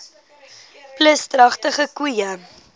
plus dragtige koeie